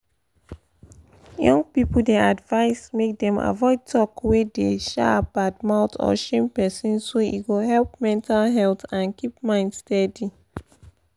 young people dey advised make dem avoid talk wey dey um bad mouth or shame person so e go help mental health and keep mind steady.